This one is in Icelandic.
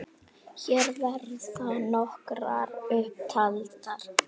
Hér verða nokkrar upp taldar